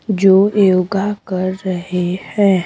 जो योगा कर रहे हैं।